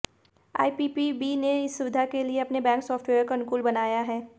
IPPB ने इस सुविधा के लिए अपने बैंक सॉफ्टवेयर को अनुकूल बनाया है